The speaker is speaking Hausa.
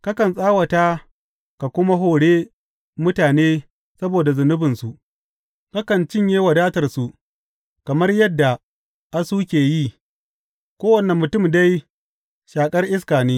Kakan tsawata ka kuma hore mutane saboda zunubinsu; kakan cinye wadatarsu kamar yadda asu ke yi, kowane mutum dai shaƙar iska ne.